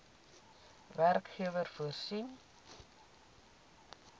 werkgewer voorsien